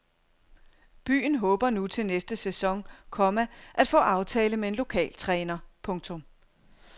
Byen håber nu til næste sæson , komma at få aftale med en lokal træner. punktum